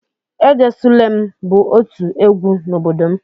"Ejesulem" bụ otu egwu n'obodo m.